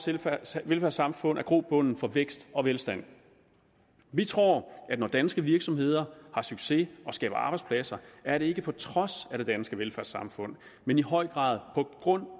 velfærdssamfund er grobunden for vækst og velstand vi tror at når danske virksomheder har succes og skaber arbejdspladser er det ikke på trods af det danske velfærdssamfund men i høj grad på grund